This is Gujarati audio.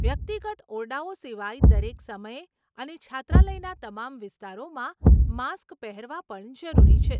વ્યક્તિગત ઓરડાઓ સિવાય દરેક સમયે અને છાત્રાલયના તમામ વિસ્તારોમાં માસ્ક પહેરવા પણ જરૂરી છે.